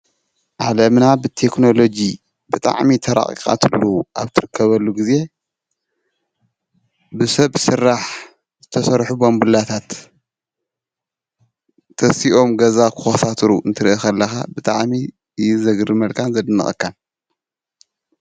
ዓለምና ብቴክኖሎጂ ብጣዕሚ ተራቂቃትሉ ኣብ እትርከበሉ ግዜ ብሰብ ስራሕ ዝተሰርሑ ባንቡላታት ተሲኦም ገዛ ክኮሳትሩ ክትርኢ ከለካ ብጣዕሚ እዩ ዘግርመልካን ዘድንቀካን፡፡